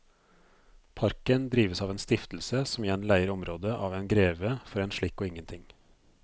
Parken drives av en stiftelse som igjen leier området av en greve for en slikk og ingenting.